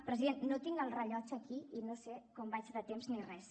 president no tinc el rellotge aquí i no sé com vaig de temps ni res